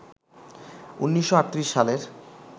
১৯৩৮ সালের